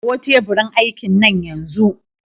Kawo teburin aikin nan yanzu!